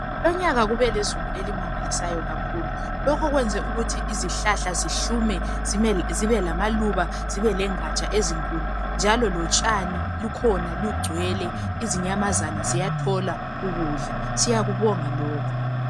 Lonyaka kubelezulu elinengi kakhulu lokhu kwenze ukuthi izihlahla zihlume zibe lamaluba legaja ezinkulu njalo lotshani lukhona lungcwele inyamazana ziyathola ukudla siyakubonga lokhu